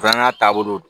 Fana taabolo don